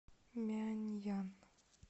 мяньян